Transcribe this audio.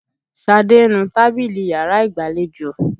Ṣadé ń nu tábìlì yàrá ìgbàlejò.